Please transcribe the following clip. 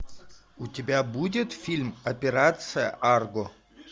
у тебя будет фильм операция арго